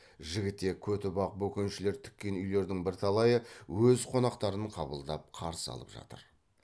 жігітек көтібақ бөкеншілер тіккен үйлердің бірталайы өз қонақтарын қабылдап қарсы алып жатыр